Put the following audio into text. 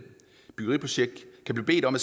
byggeriprojekt kan blive bedt om